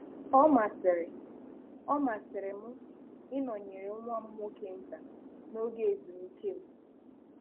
Ọ masịrị Ọ masịrị m ịnọnyere nwam nwoke nta n'oge ezumike m